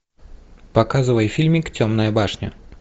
показывай фильмик темная башня